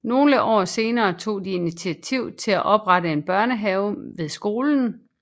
Nogle år senere tog de initiativ til at oprette en børnehave ved skolen